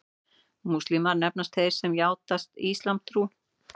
Múslímar nefnast þeir sem játa íslamstrú.